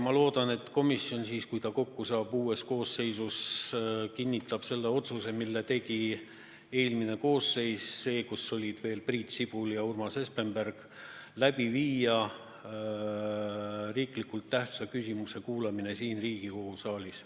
Ma loodan, et komisjon, kes saab kokku uues koosseisus, kinnitab selle otsuse, mille tegi eelmine koosseis – see, kus olid veel Priit Sibul ja Urmas Espenberg –, et teha riiklikult tähtsa küsimuse kuulamine siin Riigikogu saalis.